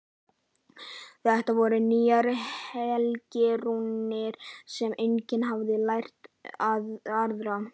Þetta voru nýjar helgirúnir sem enginn hafði lært að ráða.